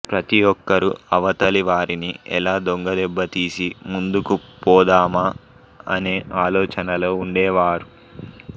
ప్రతి ఒక్కరూ అవతలి వారిని ఎలా దొంగ దెబ్బ తీసి ముందుకు పోదామా అనే ఆలోచనలో ఉండేవారు